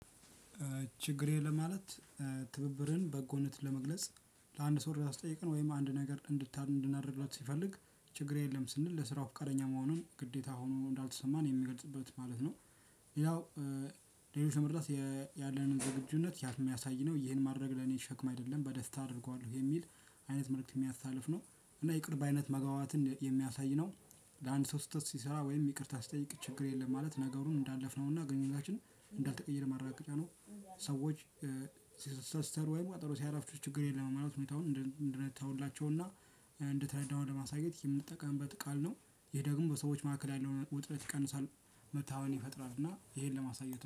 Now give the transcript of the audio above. ችግር የለም ማለት ትብብርን በጎነትን ለመግለጽ ለአንድ ሰው እርዳታ ሲጠይቀን ወይም አንድ ነገር እንድታ እንድናደርግለት ሲፈልግ ችግር የለም ስንል ለስራው ፍቃደኛ መሆኑን ግዴታ ሆኖ እንዳልተሰማን የሚገልፅበት ማለት ነው። ያው ሌሎች ለመርዳት ያለንን ዝግጁነት የሚያሳይ ነው ይሄን ማድረግ ለኔ ሸክም አይደለም በደስታ አድርገዋለሁ የሚል አይነት መልእክት የሚያስተላልፍ ነው። እና ይቅር ባይነት መግባባትን የሚያሳይ ነው። ለአንድ ሰው ስህተት ሲሰራ ወይም ይቅርታ ሲጠይቅ ችግር የለም ማለት ነገሩን እንዳለፍነውና ግንኙነታችን እንዳልተቀየረ ማረጋገጫ ነው። ሰዎች ሲሰሰሩ ወይም ቀጠሮ ሲያረፍዱ ችግር የለም በማለት ሁኔታውን እንድን እንድንተውላቸውና እንደተረዳነው ለማሳየት የምንጠቀምበት ቃል ነው። ይሄ ደግሞ በሰዎች መካከል ያለውን ውጥረት ይቀንሳል። መታመን ይፈጥራል እና ይሄን ለማሳየት